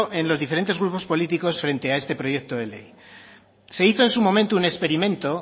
en los diferentes grupos políticos frente a este proyecto de ley se hizo en su momento un experimento